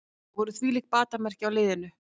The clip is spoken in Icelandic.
Það voru þvílík batamerki á liðinu